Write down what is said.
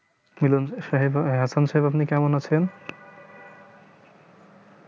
কেমন সাহেবা আপন সাহেব আপনি কেমন আছেন